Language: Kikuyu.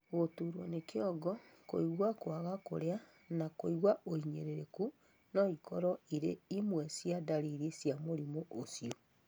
Gũturũo nĩ kĩongo, kũigwa kwaga kũrĩa, na kũigua ũhinyĩrĩrĩku no ikorũo irĩ imwe cia ndariri cia mũrimũ ũcio